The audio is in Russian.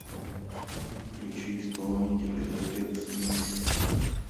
включи исполнителя олег смит